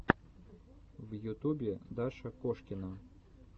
в ютубе даша кошкина